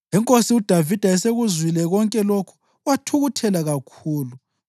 Inkosi uDavida esekuzwile konke lokhu wathukuthela kakhulu.